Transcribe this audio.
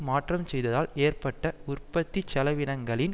மாற்றம் செய்ததால் ஏற்பட்ட உற்பத்தி செலவினங்களின்